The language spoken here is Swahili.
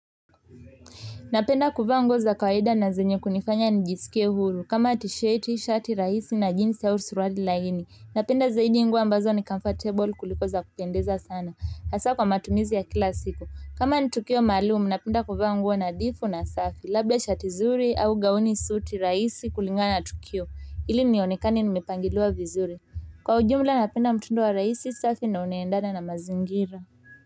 Napenda kuvaa nguo za kawaida na zenye kunifanya nijisikie huru kama t-sheti shati rahisi na jeans au suruali laini napenda zaidi nguo ambazo ni comfortable kuliko za kupendeza sana hasa kwa matumizi ya kila siku kama ni tukio maalumu napenda kuvaa nguo nadhifu na safi labda shati zuri au gauni suti rahisi kulingana na tukio ili nionekane nimepangiliwa vizuri kwa ujumla napenda mtindo rahisi safi na unaendana na mazingira.